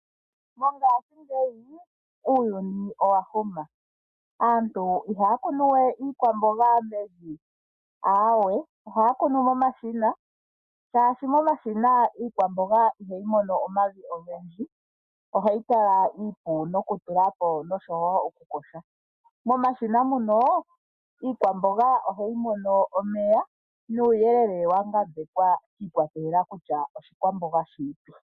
Mongaashingeyi uuyuni owa huma . Aantu ihaya kunu we iikwamboga mevi aawe ohaya kunu momashina shaashi momashina iikwamboga ihayi mono omavi ogendji ohayi kala iipu nokutulapo oshowo oku yoga .nomashina ngono iikwamboga ohayi mono omeya nuuyelele wa ngambekwa shi ikwatelela kutya oshikwamboga shini